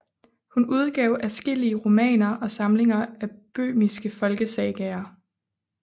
Hun udgav adskillige romaner og samlinger af böhmiske folkesagaer